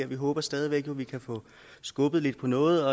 vi håber stadig væk at vi kan få skubbet lidt på noget